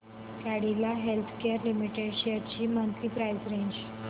Cadila healthcare limited shares ची monthly price range